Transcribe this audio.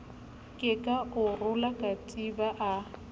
kepa a rola katiba a